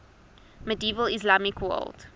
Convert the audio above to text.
medieval islamic world